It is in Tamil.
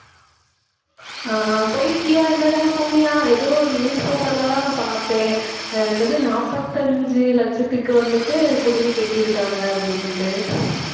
ஆஹ் ஆஹ் போயிருக்கியா இந்த தடவை போனியா எதோ newspaper ல எல்லாம் நான் பார்த்தேன் ஆஹ் என்னது நாப்பத்தஞ்சு லட்சத்துக்கு வந்துட்டு குடில் கட்டி இருக்காங்க அப்படின்னுட்டு